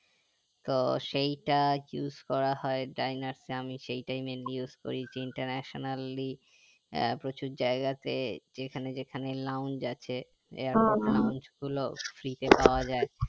তো সেইটা use করা হয় ডাইনাসে আমি সেইটাই mainly use করেছি internationaly প্রচুর জায়গাতে যেখানে যেখানে lawns আছে lawns গুলো free তে পাওয়া যাই